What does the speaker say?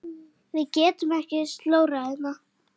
Við getum ekki slórað hérna.